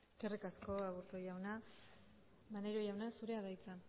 eskerrik asko aburto jauna maneiro jauna zurea da hitza